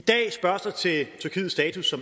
så